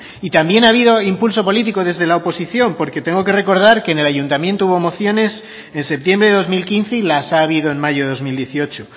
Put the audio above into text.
y también ha habido impulso político desde la oposición porque tengo que recordar que en el ayuntamiento hubo mociones en septiembre de dos mil quince y las ha habido en mayo de dos mil dieciocho